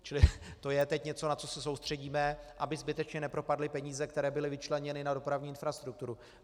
Čili to je teď něco, na co se soustředíme, aby zbytečně nepropadly peníze, které byly vyčleněny na dopravní infrastrukturu.